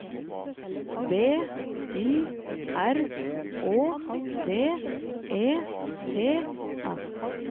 B Y R Å D E T S